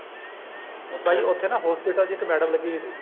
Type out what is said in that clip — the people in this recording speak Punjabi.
ਬਾਈ ਉੱਥੇ ਨਾ hospital ਵਿੱਚ ਇੱਕ madam ਲੱਗੀ ਹੋਈ ਸੀਗੀ